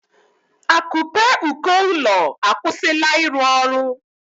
Akupe uko ụlọ akwụsịla ịrụ ọrụ